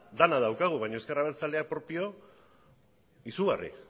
denok daukagu baina ezker abertzaleak propio izugarria